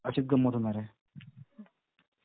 अशीच गंमत होणार आहे.